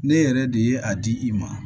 Ne yɛrɛ de ye a di i ma